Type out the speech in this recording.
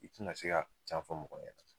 I ti na se ka can fɔ mɔgɔ ye.